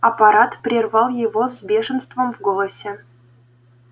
апорат прервал его с бешенством в голосе